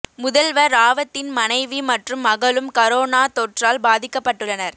முதல்வா் ராவத்தின் மனைவி மற்றும் மகளும் கரோனா தொற்றால் பாதிக்கப்பட்டுள்ளனா்